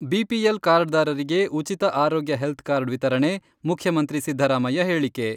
BPL card ದಾರರಿಗೆ ಉಚಿತ ಆರೋಗ್ಯ ಹೆಲ್ತ್ ಕಾರ್ಡ್ ವಿತರಣೆ, ಮುಖ್ಯಮಂತ್ರಿ ಸಿದ್ದರಾಮಯ್ಯ ಹೇಳಿಕೆ.